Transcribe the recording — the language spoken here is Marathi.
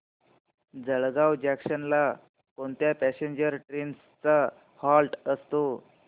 जळगाव जंक्शन ला कोणत्या पॅसेंजर ट्रेन्स चा हॉल्ट असतो